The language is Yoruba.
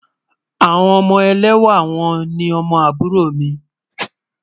Awọn ọmọ èlẹ́wà wọn ni awọn òlúfẹ́ m